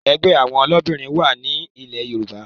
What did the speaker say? Ẹgbẹ́ àwọn olóbìnrin wá ní ilẹ́ Yorùbá